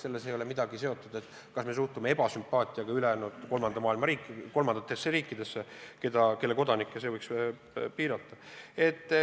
See ei ole üldse seotud sellega, kas me suhtume ebasümpaatiaga kolmandatesse riikidesse, kelle kodanike õigusi võiks piirata.